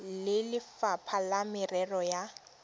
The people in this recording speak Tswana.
le lefapha la merero ya